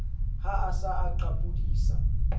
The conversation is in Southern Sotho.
ha a sa a qapodisa